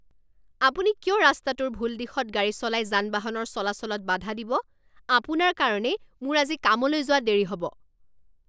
আপুনি কিয় ৰাস্তাটোৰ ভুল দিশত গাড়ী চলাই যান বাহনৰ চলাচলত বাধা দিব? আপোনাৰ কাৰণেই মোৰ আজি কামলৈ যোৱা দেৰি হ'ব।